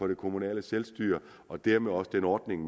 det kommunale selvstyre og dermed også den ordning